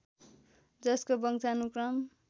जसको वंशानुक्रम